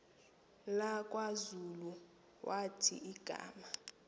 lakwazulu wathi igama